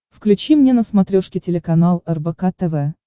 включи мне на смотрешке телеканал рбк тв